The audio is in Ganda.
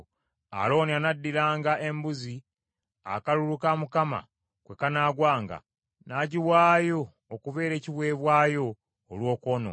Alooni anaddiranga embuzi akalulu ka Mukama kwe kanaagwanga, n’agiwaayo okubeera ekiweebwayo olw’okwonoona.